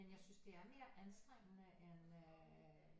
Men jeg synes det er mere anstrengende end øh